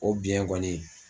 O biyɛn kɔni.